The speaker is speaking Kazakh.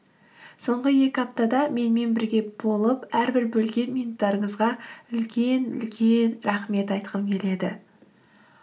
соңғы екі аптада менімен бірге болып әрбір бөлген минуттарыңызға үлкен үлкен рахмет айтқым келеді